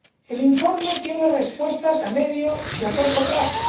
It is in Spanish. El informe tiene respuestas a medio y a corto plazo.